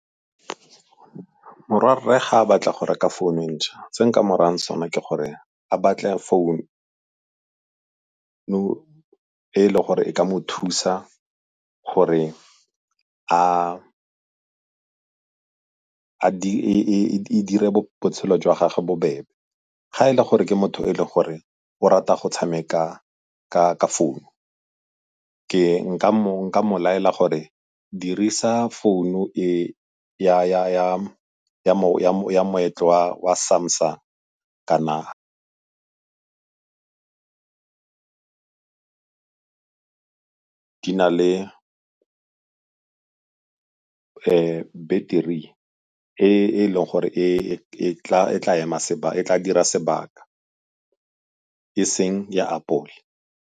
Morwarre ga a batla go reka founu e ntšha, se nka mo rayang sone ke gore a batle founu e e leng gore e ka mo thusa gore e dire botshelo jwa gage bobebe. Ga e le gore ke motho o e le gore o rata go tshameka ka founu nka mo laela gore dirisa founu ya moetlo wa Samsung kana di na le battery e e leng gore e tla dira sebaka e seng ya apole.